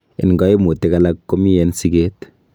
En koimutik alak, komi en siket.